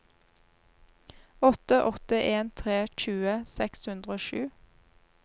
åtte åtte en tre tjue seks hundre og sju